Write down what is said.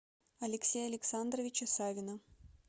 алексея александровича савина